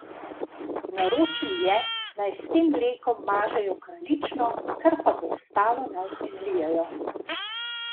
Naročil je, naj s tem mlekom mažejo kraljično, kar pa bo ostalo, naj izlijejo.